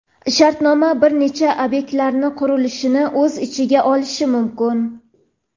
shartnoma bir necha obyektlarning qurilishini o‘z ichiga olishi mumkin.